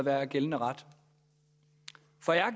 er gældende ret